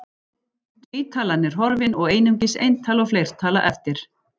Tvítalan er horfin og einungis eintala og fleirtala eftir.